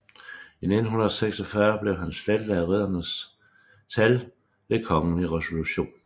I 1946 blev han slettet af riddernes tal ved kongelig resolution